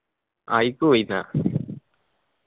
ആ അയില്ക്ക് പോയിനി ആ